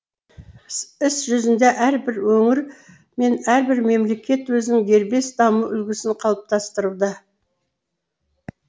іс жүзінде әрбір өңір мен әрбір мемлекет өзінің дербес даму үлгісін қалыптастыруда